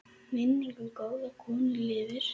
Minning um góða konu lifir.